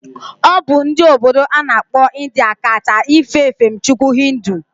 Obu ndi obodo ana akpo India ka cha efe efemchukwu hinduism